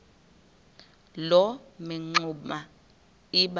loo mingxuma iba